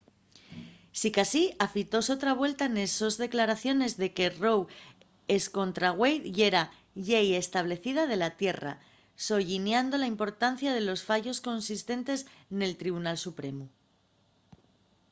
sicasí afitóse otra vuelta nes sos declaraciones de que roe escontra wade yera la llei establecida de la tierra” solliñando la importancia de los fallos consistentes del tribunal supremu